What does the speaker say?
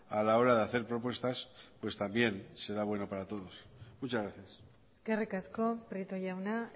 a la hora de hacer propuestas pues también será bueno para todos muchas gracias eskerrik asko prieto jauna